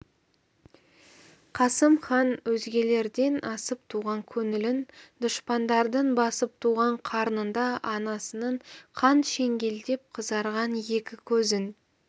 қасым хан өзгелерден асып туған көңілін дұшпандардың басып туған қарнында анасының қан шеңгелдеп қызарған екі көзін